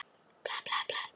Hann var ókeypis.